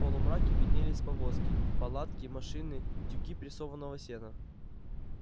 в полумраке виднелись повозки палатки машины тюки прессованного сена